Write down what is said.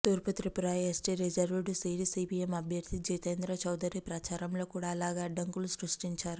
తూర్పు Tripura ST reserved seat CPM అభ్యర్ధి జితేంద్ర చౌదరి ప్రచారంలో కూడా ఇలాగే అడ్డంకులు సృష్టించారు